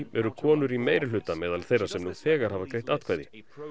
eru konur í meirihluta meðal þeirra sem nú þegar hafa greitt atkvæði